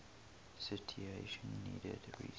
citation needed reason